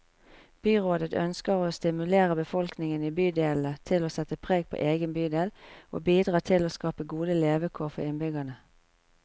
Byrådet ønsker å stimulere befolkningen i bydelene til å sette preg på egen bydel, og bidra til å skape gode levekår for innbyggerne.